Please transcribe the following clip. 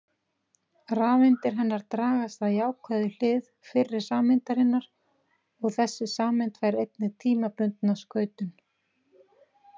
Rafeindir hennar dragast að jákvæðu hlið fyrri sameindarinnar og þessi sameind fær einnig tímabundna skautun.